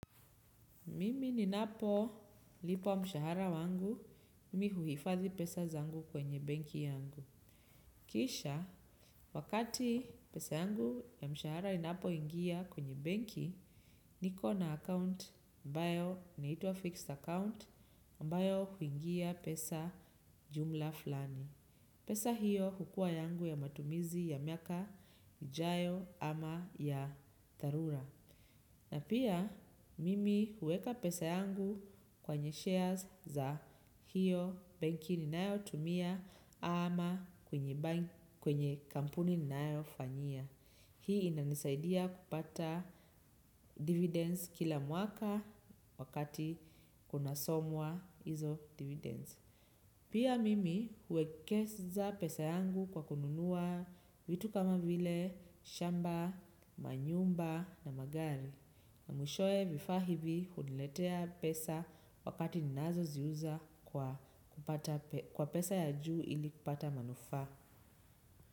Mimi ninapolipwa mshahara wangu, mimi huifadhi pesa zangu kwenye benki yangu. Kisha, wakati pesa yangu ya mshahara inapoingia kwenye benki, niko na account ambayo, inaitwa fixed account, ambayo huingia pesa jumla fulani. Pesa hiyo hukua yangu ya matumizi ya miaka, ijayo ama ya dharura. Na pia mimi huweka pesa yangu kwenye shares za hiyo benki ninayotumia ama kwenye kampuni ninayofanyia. Hii inanisaidia kupata dividends kila mwaka wakati kunasomwa hizo dividends. Pia mimi huwekeza pesa yangu kwa kununua vitu kama vile, shamba, manyumba na magari. Na mwishowe vifaa hivi huniletea pesa wakati ninazoziuza kwa pesa ya juu ili kupata manufaa.